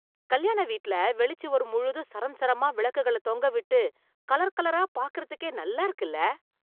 கல்யாண வீட்ல, வெளிச் சுவர் முழுதும் சரம் சரமா விளக்குகள தொங்கவிட்டு, கலர் கலரா பாக்கறதுக்கே நல்லா இருக்குல..